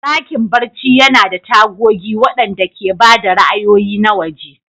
Dakin barci yana da tagogi waɗanda ke ba da ra'ayoyi na waje.